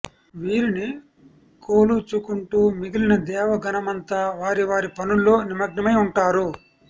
వీరిని కోలుచుకుంటు మిగిలిన దేవగణమంతా వారివారి పనుల్లో నిమగ్నమై ఉంటారు